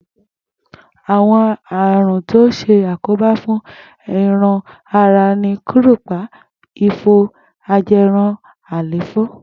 Àwo̩n àrùn tó ń s̩àkóbá fún e̩ran ara ni kúrùpa, ifo, aje̩run, àléfó̩